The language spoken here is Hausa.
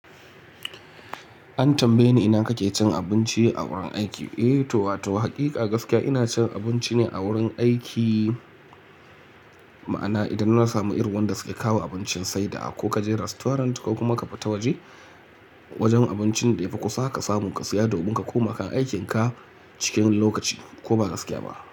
An tambaye ni ina kake cin abinci a wurin aiki? Eh to wa to haƙiƙa gaskiya ina cin abinci ne a wurin aiki. Ma'ana idan na samu irin wanda suke kawo abincin sai da a ko ka je restaurant ko kuma ka fita waje wajen abincin da ya fi kusa ka samu ka siya domin ka koma kan aikin ka cikin lokaci ko ba gaskiya ba.